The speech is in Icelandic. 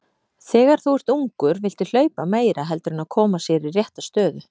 Þegar þú ert ungur viltu hlaupa meira heldur en að koma sér í rétta stöðu.